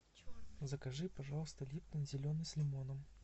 закажи пожалуйста липтон зеленый с лимоном